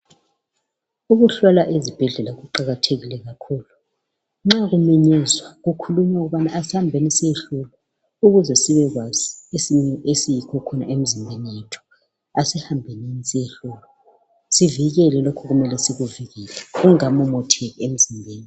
Ukuhlolwa ezibhedlela kuqakathekile kakhulu. Nxa kumenyezwa kukhulunywa ukubana asambeni siyohlolwa, ukuze sibe kwazi isimo esiyikho khona emizimbeni yethu. Asihambenini siyehlolwa, sivikele lokhu okumele sikuvikele kungakamotsheki emzimbeni